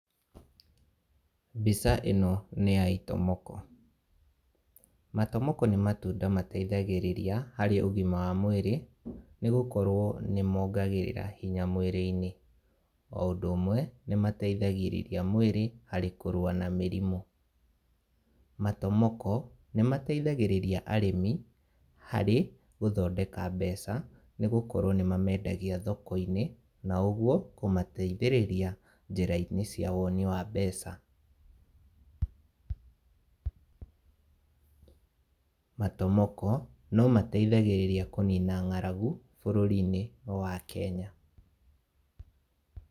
Mbica ĩno, nĩ ya itomoko, matomoko nĩ matunda mateithagĩrĩria harĩ ũgima wa mwĩrĩ, nĩ gũkorwo nĩ mongagĩrĩra hinya mwĩrĩ-inĩ, o ũndũ ũmwe, nĩ mateithagĩrĩria mwĩrĩ harĩ kũrũwa na mĩrĩmũ, matomoko nĩ mateithagĩrĩria arĩmi harĩ gũthondeka mbeca, nĩ gũkorwo nĩ mamendagia thoko-inĩ, na ũguo kũmateithĩrĩria njĩra-inĩ cia woni wa mbeca, matomoko no mateithagĩrĩria kũnina ngaragu bũrũri-inĩ wa Kenya.